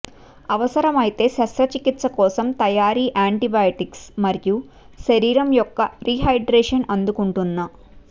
అవసరమైతే శస్త్రచికిత్స కోసం తయారీ యాంటీబయాటిక్స్ మరియు శరీరం యొక్క రీహైడ్రేషన్ అందుకుంటున్న